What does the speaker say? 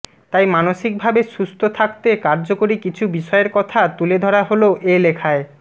তাই মানসিকভাবে সুস্থ থাকতে কার্যকরী কিছু বিষয়ের কথা তুলে ধরা হলো এ লেখায়